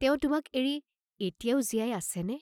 তেওঁ তোমাক এৰি এতিয়াও জীয়াই আছেনে?